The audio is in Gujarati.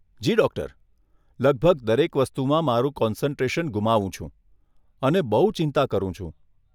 જી ડૉક્ટર, લગભગ દરેક વસ્તુમાં મારુ કોન્સન્ટ્રેશન ગુમાવું છું અને બહુ ચિંતા કરું છું.